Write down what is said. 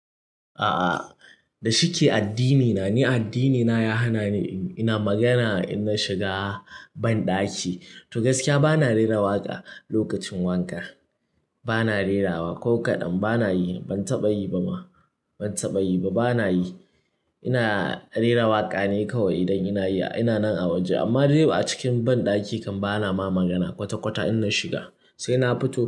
A'a, da shike addinina. Ni addinina ya hana ni ina magana in na shiga banɗaki. To gaskiya bana rera waƙa lokacin wanka. Bana rerawa ko kaɗan bana yi, ban taɓa yi ba ma. Ban taɓa yi ba, bana yi. Ina rera waƙa ne kawai idan ina nan a waje amma de ba acikin banɗaki kam bana ma magana kwata-kwata in na shiga sai na fito.